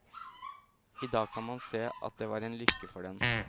I dag kan man se at det var en lykke for den.